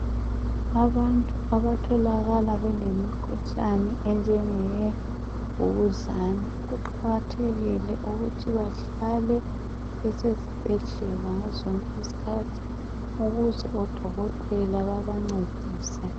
Abantu abatholakala belemikhuhlane enjengemvukuzane, kuqakathekile ukuthi bahlale besesibhedlela ngazozonke iskhathi ukuze odokotela babancedise.